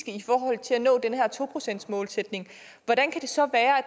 i forhold til at nå den her to procentsmålsætning hvordan kan det så være at